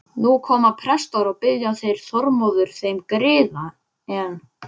Nú koma prestar og biðja þeir Þormóður þeim griða, en